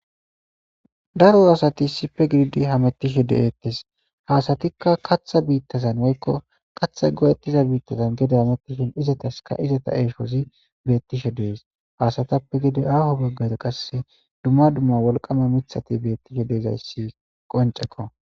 Daro asati issife gididi hamettishe de7eettes. Ha asatikka katha biittazan woykko kathay goyettiza biittazan gede hamettishin izataska izata eeshozi beettishe de'es. Ha asatappe gede aaho baggara qase dumma dumma wolqama mithati beettishe de'izayssi qoncceko.